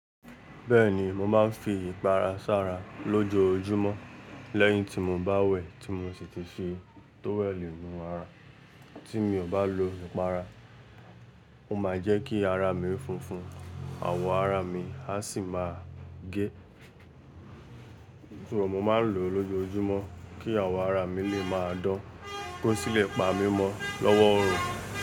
Bẹ́ẹ̀ni mo máa ń fi ìpara sara lójoojúmọ́ lẹ́yìn tí mo bá wẹ̀ tí mo sì ti fi tówẹ̀elì nú ara. Tí mi ò bá lo ìpara, ó máa jẹ́ kí ara mi funfun, àwọ̀ ara mi a sì máa gé. Nítorí mo máa ń lò ó lójoojúmọ́ kí àwọ̀ ara mi lè máa dán, kó sì lè pa mí mọ́ lọ́wọ́ oorun.